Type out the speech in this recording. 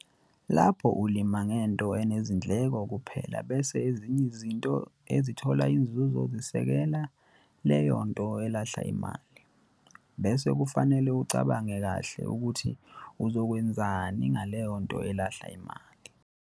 Lapho ulima ngento enezindleko kuphela bese ezinye izinto ezithola inzuzo zizosekela leyo nto elahla imali, bese kufanele ucabange kahle ukuthi uzokwenzani ngaleyo nto elahla imali.